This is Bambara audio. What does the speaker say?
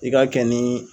I ka kɛ ni